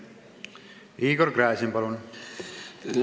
Igor Gräzin, palun!